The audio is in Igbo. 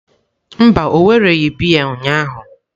Mba, o wereghị biya ụnyahụ.